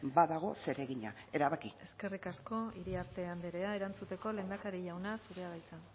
badago zeregina erabaki eskerrik asko iriarte anderea erantzuteko lehendakari jauna zurea da hitza